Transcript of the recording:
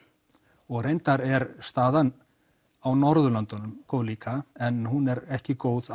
og reyndar er staðan á Norðurlöndunum góð líka en hún er ekki góð